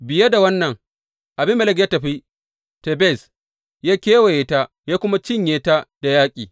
Biye da wannan Abimelek ya tafi Tebez, ya kewaye ta ya kuma cinye ta da yaƙi.